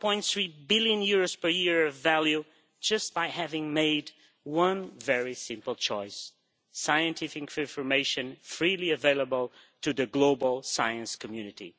1.3 billion per year of value just by having made one very simple choice scientific information freely available to the global science community.